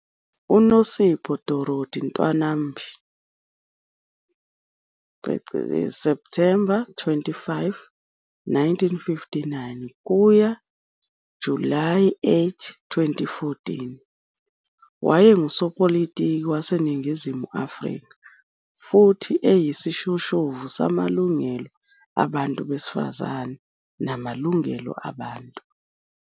UNosipho Dorothy Ntwanambi, Septhemba 25, 1959 - Julayi 8, 2014, wayengusopolitiki waseNingizimu Afrika, futhi eyisishoshovu samalungelo abantu besifazane namalungelo abantu.